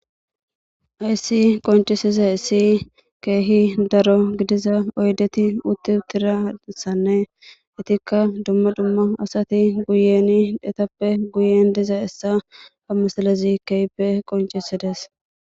Hayissi qonicisizayissi kehi daro gidiza oyidetti utti uttidayissanne asatikka dumma dumma asati guyenni etappe dizayissa,haa misilezzi kehippe qonnicisides.